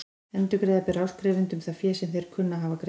Endurgreiða ber áskrifendum það fé sem þeir kunna að hafa greitt.